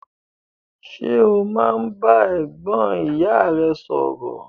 Ṣe o máa n bá ẹ̀gbọ́n ìyá rẹ sọrọ?